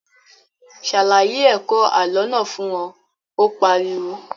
Ṣàlàyé ẹ̀kọ́ àlọ́ náà fún wọn, Ó pariwo